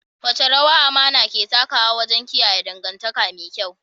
Wace rawa amana ke takawa wajen kiyaye dangantaka me kyau?